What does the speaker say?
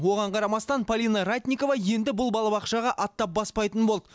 оған қарамастан полина ратникова енді бұл балабақшаға аттап баспайтын болды